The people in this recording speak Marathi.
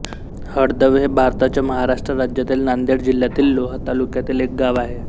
हळदव हे भारताच्या महाराष्ट्र राज्यातील नांदेड जिल्ह्यातील लोहा तालुक्यातील एक गाव आहे